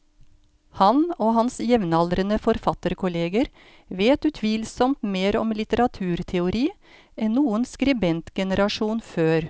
Han og hans jevnaldrende forfatterkolleger vet utvilsomt mer om litteraturteori enn noen skribentgenerasjon før.